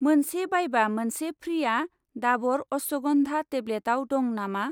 मोनसे बायबा मोनसे फ्रि'आ दाबर अश्वगन्धा टेब्लेटआव दं नामा?